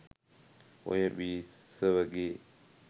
ඔය බිසවගේ